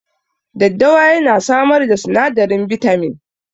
Daddawa ya na samar da sinadarin bitamin